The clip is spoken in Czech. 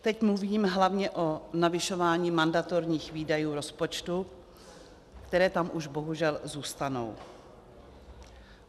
Teď mluvím hlavně o navyšování mandatorních výdajů rozpočtu, které tam už bohužel zůstanou.